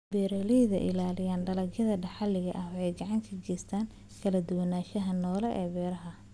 Beeralayda ilaalinaya dalagyada dhaxalka ah waxay gacan ka geystaan ??kala duwanaanshaha noole ee beeraha.